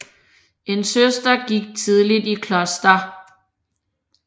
En søster gik tidligt i kloster